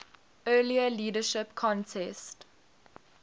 earlier leadership contest